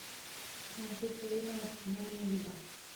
манчестер юнайтед финальная лига